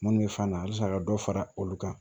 Munnu bɛ fan na halisa ka dɔ fara olu kan